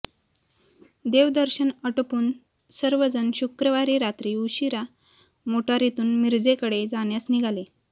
देवदर्शन आटोपून सर्व जण शुक्रवारी रात्री उशिरा मोटारीतून मिरजेकडे जाण्यास निघाले